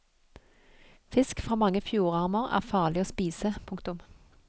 Fisk fra mange fjordarmer er farlig å spise. punktum